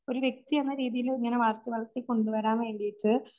ഒരു വ്യക്തി എന്ന രീതിയില്